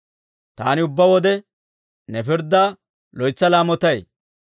Taani ubbaa wode, ne pirddaa loytsa laamotay.